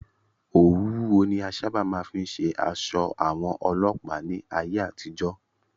Òwú wúwo ni a sáábà máa fí ń ṣe aṣọ àwọn Ọlọ́pàá ní ayé àtijọ́.